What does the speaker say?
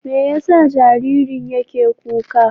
Me yasa jaririn yake kuka?